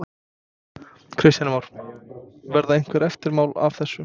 Þorbjörn: Hvað vilt þú gera varðandi aðildarviðræðurnar við Evrópusambandið?